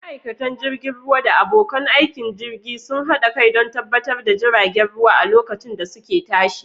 Ma'aikatan jirgin ruwa da abokan aikin jirgin sun haɗa kai don tabbatar da jiragen ruwa a lokacin da suke tashi.